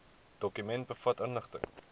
dokument bevat inligting